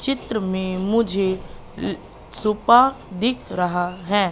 चित्र में मुझे सोफा दिख रहा है।